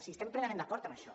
si estem plenament d’acord en això